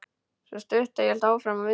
Sú stutta hélt áfram að vinda.